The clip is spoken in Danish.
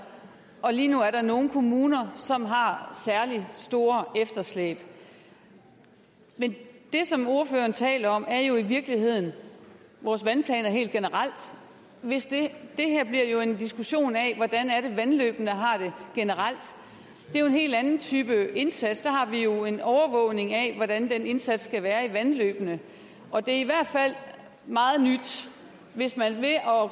og lige nu er der nogle kommuner som har har særlig store efterslæb men det som ordføreren taler om er jo i virkeligheden vores vandplaner helt generelt det her bliver jo en diskussion af hvordan vandløbene har det generelt det er jo en helt anden type indsats der har vi jo en overvågning af hvordan den indsats skal være i vandløbene og det er i hvert fald meget nyt hvis man ved at